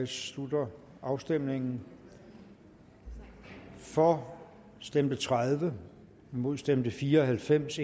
slutter afstemningen for stemte tredive imod stemte fire og halvfems